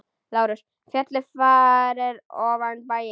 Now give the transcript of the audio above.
LÁRUS: Fjallið fyrir ofan bæinn.